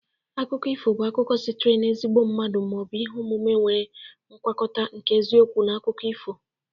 Akụkọ ifo bụ akụkọ sitere n'ezigbo mmadụ ma ọ bụ ihe omume nwere ngwakọta nke eziokwu na akụkọ ifo.